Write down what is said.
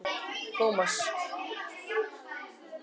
Tómas